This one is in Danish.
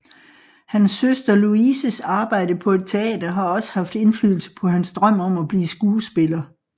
Hans søster Louises arbejde på et teater har også haft indflydelse på hans drøm om at blive skuespiller